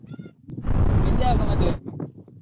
ನಿಂದ್ಯಾವಾಗ ಮದ್ವೆ?